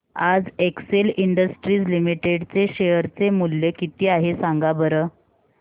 आज Excel industries limited चे share चे मूल्य किती आहे सांगा बरं